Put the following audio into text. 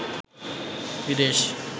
বিদেশ